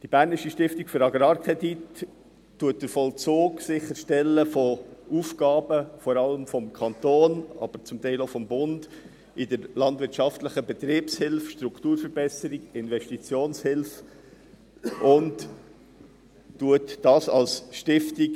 Die BAK stellt den Vollzug von Aufgaben vor allem des Kantons, aber zum Teil auch des Bundes, in der landwirtschaftlichen Betriebshilfe sicher – Strukturverbesserung, Investitionshilfe – und führt dies als Stiftung.